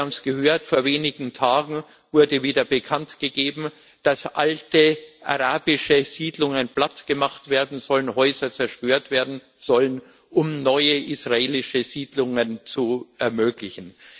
Sie haben es gehört Vor wenigen Tagen wurde wieder bekanntgegeben, dass alte arabische Siedlungen plattgemacht und Häuser zerstört werden sollen, um neue israelische Siedlungen zu ermöglichen.